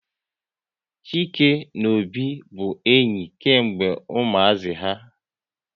Chike na Obi bụ enyi kemgbe ụmuazi ha